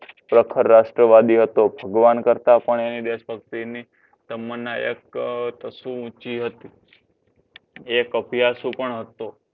પ્રખર રાષ્ટ્રવાદી હતો. ભગવાન કરતા પણ એની દેશ ભક્તિની તમ્મના એક તશું ઊંચી હતી. એ અભ્યાશુ પણ હતો.